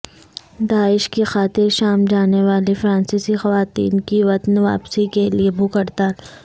داعش کی خاطر شام جانے والی فرانسیسی خواتین کی وطن واپسی کے لیے بھوک ہڑتال